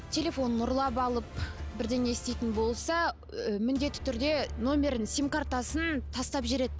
телефонын ұрлап алып бірдеңе істейтін болса ы міндетті түрде номерін сим картасын тастап жібереді